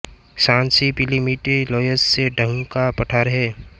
Shanxi पीली मिट्टी loess से ढँका पठार है